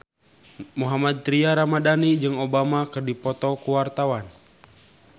Mohammad Tria Ramadhani jeung Obama keur dipoto ku wartawan